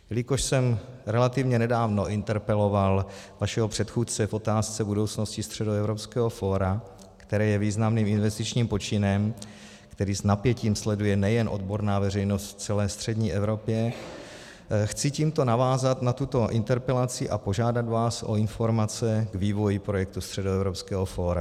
Jelikož jsem relativně nedávno interpeloval vašeho předchůdce v otázce budoucnosti Středoevropského fóra, které je významným investičním počinem, který s napětím sleduje nejen odborná veřejnost v celé střední Evropě, chci tímto navázat na tuto interpelaci a požádat vás o informace o vývoji projektu Středoevropského fóra.